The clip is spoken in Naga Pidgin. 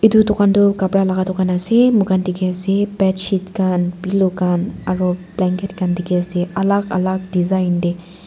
edu dukan toh kapra laka dukan ase moikhan dikhiase bedsheet khan pillow khan aro blanket khan dikhiase alak alak design tae.